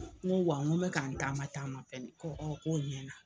Ŋo wa ŋo n bɛ ka n taama taama fɛnɛ, ko k'o ɲɛna.